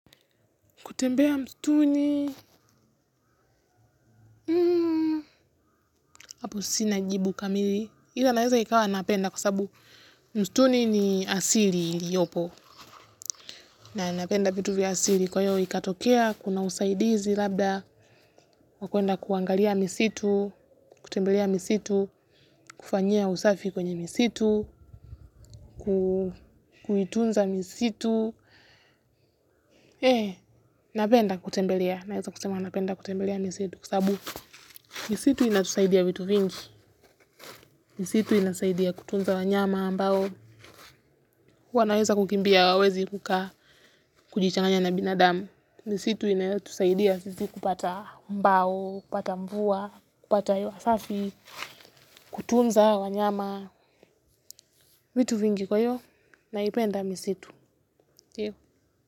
Kutembea mstuni, hapo sina jibu kamili. Ila naeza ikawa napenda kwa sabu mstuni ni asili iliyopo. Na napenda vitu vya asili kwa hiyo ikatokea, kuna usaidizi labda, wa kwenda kuangalia misitu, kutembelea misitu, kufanyia usafi kwenye misitu, kuitunza misitu. Eh, napenda kutembelea. Naeza kusema napenda kutembelea misitu. Misitu inatusaidia vitu vingi, misitu inasaidia kutunza wanyama, ambao, wanaweza kukimbia hawawezi kukaa kujichanganya na binadamu. Misitu inatusaidia sisi kupata mbao, kupata mvua, kupata hewa safi, kutunza wanyama, vitu vingi kwa hiyo naipenda misitu.